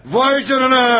Vay canına!